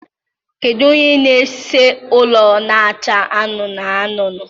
Kedu onye na-ese ụlọ na-acha anụnụ anụnụ?